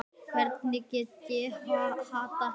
Hvernig ég get þolað þig?